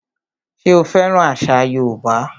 Ṣé o fẹ́ràn àṣà yóòbá?